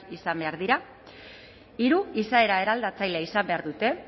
izan behar dira hiru izaera eraldatzailea izan behar dute